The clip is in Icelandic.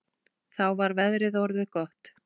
Þá var veðrið orðið gott.